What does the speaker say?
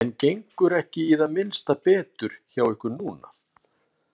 En gengur ekki í það minnsta betur hjá ykkur núna?